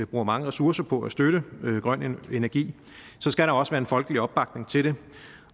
bruger mange ressourcer på at støtte grøn energi så skal der også være en folkelig opbakning til det